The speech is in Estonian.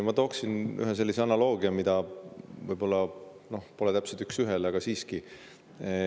Ma toon ühe sellise analoogia, mis võib-olla täpselt üks ühele, aga siiski.